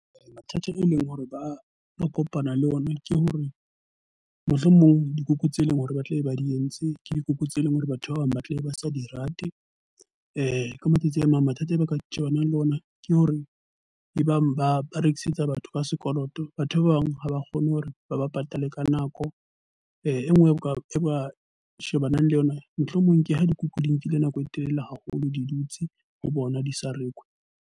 Mathata e leng hore ba ba kopana le ona ke ho re, mohlomong dikuku tse leng hore ba tlabe ba di entse, ke dikuku tse leng hore batho ba bang ba tlabe ba sa di rate. Ka matsatsi a mang mathata e ba ka shebanang le ona ke hore e bang ba ba rekisetsa batho ka sekoloto, batho ba bang ha ba kgone hore ba ba patale ka nako. E nngwe o ka e ba shebanang le yona, mohlomong ke ha dikuku di nkile nako e telele haholo di dutse ho bona di sa rekwe.